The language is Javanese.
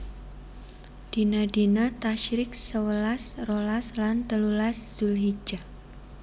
Dina dina Tasyrik sewelas rolas lan telulas Zulhijjah